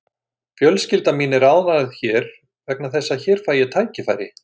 Fjölskylda mín er ánægð hér vegna þess að hér fæ ég tækifæri.